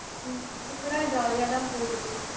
இப்ப கூட jolly யாதான் போகுது